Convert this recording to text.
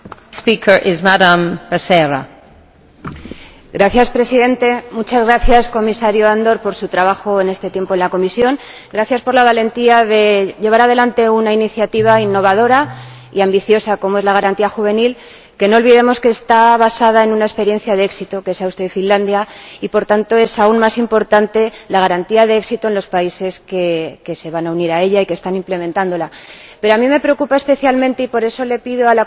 Señora Presidenta, señor Andor, muchas gracias por su trabajo en este tiempo en la Comisión. Gracias por la valentía de llevar adelante una iniciativa innovadora y ambiciosa, como es la Garantía Juvenil, que no olvidemos que está basada en una experiencia de éxito, la de Austria y Finlandia, y, por tanto, es aún más importante que exista una garantía de éxito en los países que se van a unir a ella y que están implementándola. Pero este asunto a mí me preocupa especialmente —y por eso le pido a la Comisión y al Consejo